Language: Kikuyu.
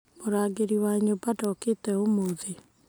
Murangĩri wa nyũmba ndokĩte ũmũthĩ